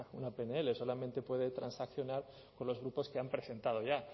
una pnl solamente puede transaccionar con los grupos que han presentado ya